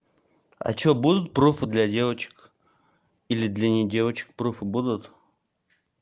а что будут пруфы для девочек или для не девочек пруфы будут